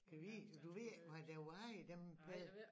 Gad vide du ved ikke hvad der var i dem pille